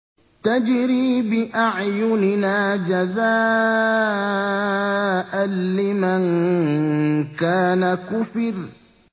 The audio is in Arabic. تَجْرِي بِأَعْيُنِنَا جَزَاءً لِّمَن كَانَ كُفِرَ